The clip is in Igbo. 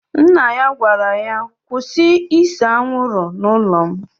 Nna ya gwara ya, kwụsị ịse anwụrụ n'ụlọ m!